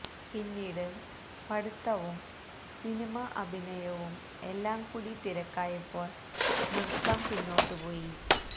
പിന്നീട് പഠിത്തവും സിനിമ അഭിനയവും എല്ലാം കൂടി തിരക്കായപ്പോൾ നൃത്തം പിന്നോട്ട് പോയി